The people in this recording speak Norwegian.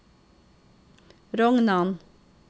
Rognan